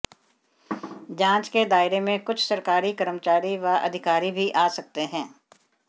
जांच के दायरे में कुछ सरकारी कर्मचारी व अधिकारी भी आ सकते हैं